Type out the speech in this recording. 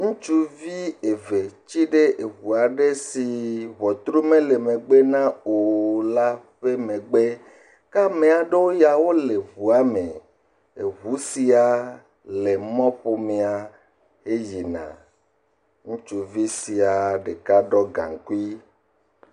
Ŋutsuvi eve tiɖe ʋu aɖe si ʋɔtru mele megbe na o la ƒe megbe ke ame aɖewo ya wole ʋuame, ʋu sia le mɔƒomea he yina ŋutsuvi sia ɖeka ɖɔ gankui